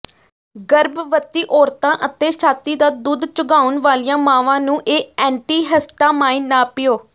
ਗਰਭਵਤੀ ਔਰਤਾਂ ਅਤੇ ਛਾਤੀ ਦਾ ਦੁੱਧ ਚੁੰਘਾਉਣ ਵਾਲੀਆਂ ਮਾਵਾਂ ਨੂੰ ਇਹ ਐਂਟੀਿਹਸਟਾਮਾਈਨ ਨਾ ਪੀਓ